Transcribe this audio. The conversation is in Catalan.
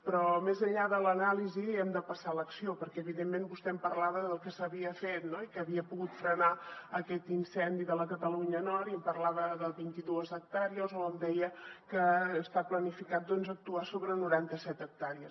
però més enllà de l’anàlisi hem de passar a l’acció perquè evidentment vostè em parlava del que s’havia fet i que havia pogut frenar aquest incendi de la catalunya nord i em parlava de vint i dues hectàrees o em deia que està planificat actuar sobre noranta set hectàrees